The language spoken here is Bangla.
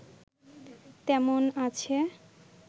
তেমন আছে